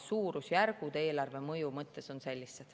Suurusjärgud eelarve mõju mõttes on sellised.